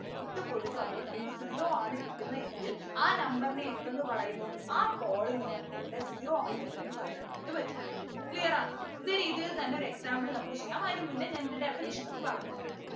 ഇട്ടുകൊടുക്കുമ്പോൾ നമുക്ക് zero ആണ് കിട്ടുന്നെ എങ്കിൽ ആ number നെ എന്തെന്ന് പറയുന്നു ആ polynomial ൻ്റെ zero ആണെന്ന് പറയാനായിട്ടു പറ്റും clear ആണ് ഇതേ രീതിയിൽ തന്നെ ഒരു example നമുക്ക് ചെയ്യാം അതിനു മുന്നേ ഞാൻ ഇതിൻ്റെ definition ഒന്ന് പറഞ്ഞു തരാം